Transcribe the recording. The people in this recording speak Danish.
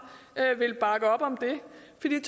ville